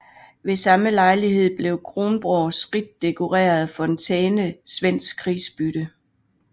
Ved samme lejlighed blev Kronborgs rigt dekorerede fontæne svensk krigsbytte